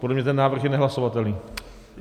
Podle mě ten návrh je nehlasovatelný.